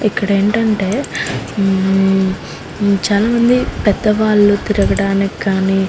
ఇక్కడేంటంటే ఉమ్మ్ చాలామంది పెద్దవాళ్ళు తిరగడానికి గాని --